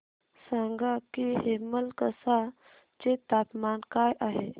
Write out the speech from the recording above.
सांगा की हेमलकसा चे तापमान काय आहे